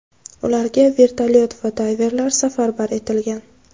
Ularga vertolyot va dayverlar safarbar etilgan.